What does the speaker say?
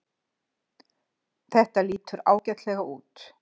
Þetta lítur ágætlega út